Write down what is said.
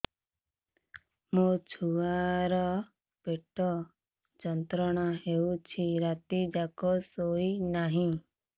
ମୋ ଛୁଆର ପେଟ ଯନ୍ତ୍ରଣା ହେଉଛି ରାତି ଯାକ ଶୋଇନାହିଁ